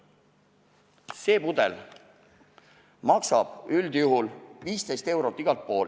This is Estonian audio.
See pudel maksab üldjuhul 15 eurot.